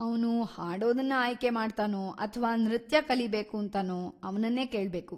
ಅವ್ನು ಹಾಡೋದನ್ನ ಆಯ್ಕೆ ಮಾಡ್ತಾನೋ ಅಥ್ವಾ ನೃತ್ಯ‌ ಕಲಿಬೇಕೂಂತಾನೋ ಅವ್ನನ್ನೇ ಕೇಳ್ಬೇಕು.